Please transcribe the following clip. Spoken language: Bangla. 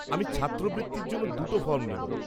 আমি ছাত্রবৃত্তির জন্য দুটো ফর্ম নেব।